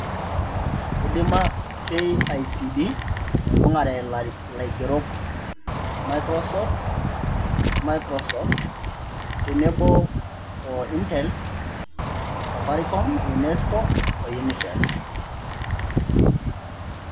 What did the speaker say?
Eidima KICD aibung'are ilaigerok, Microsoft tenebo wo Intel, Safaricom, UNESCOO o UNICEF.